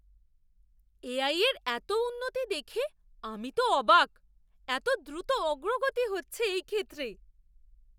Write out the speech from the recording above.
AI এর এত উন্নতি দেখে আমি তো অবাক! এত দ্রুত অগ্রগতি হচ্ছে এই ক্ষেত্রে!